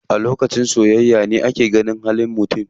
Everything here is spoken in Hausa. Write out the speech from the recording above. A lokacin soyayya ne ake gane halin mutum.